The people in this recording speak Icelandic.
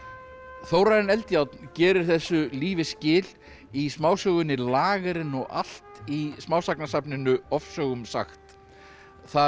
Þórarinn Eldjárn gerir þessu lífi skil í smásögunni lagerinn og allt í smásagnasafninu ofsögum sagt þar